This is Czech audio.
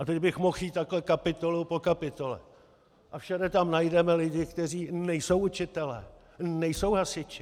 A teď bych mohl jít takhle kapitolu po kapitole a všude tam najdeme lidi, kteří nejsou učitelé, nejsou hasiči.